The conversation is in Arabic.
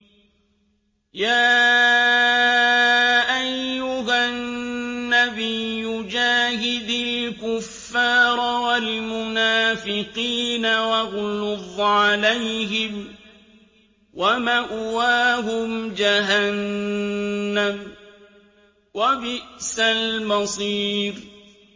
يَا أَيُّهَا النَّبِيُّ جَاهِدِ الْكُفَّارَ وَالْمُنَافِقِينَ وَاغْلُظْ عَلَيْهِمْ ۚ وَمَأْوَاهُمْ جَهَنَّمُ ۖ وَبِئْسَ الْمَصِيرُ